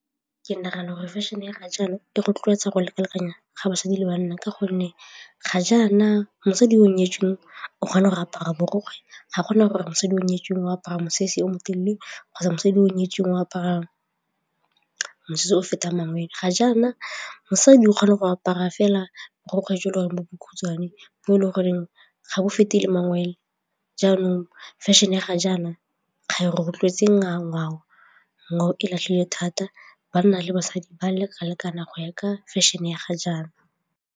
Ke nagana gore fashion-e ya ga jaana e rotloetsa go leka-lekana ga basadi le banna ka gonne ga jaana mosadi yo o nyetsweng o kgona go apara borokgwe ga gona gore mosadi yo o nyetsweng o apara mosese o motelele kgotsa mosadi yo o nyetsweng o aparang mosese o fetang mangwele. Ga jaana mosadi o kgone go apara fela borokgwe jo le gore bo bokhutswane bo e le goreng ga bo fete le mangwe jaanong fashion-e ya ga jaana ga e rotloetse ngwao-ngwao, ngwao e latlhile thata banna le basadi ba leka-lekana go ya ka fashion-e ya ga jaana.